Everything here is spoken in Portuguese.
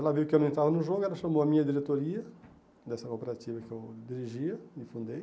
Ela viu que eu não entrava no jogo, ela chamou a minha diretoria, dessa cooperativa que eu dirigia e fundei,